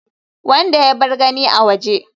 wanda ya bar gani a waje